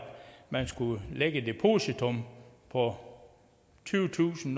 man skulle lægge et depositum på tyvetusind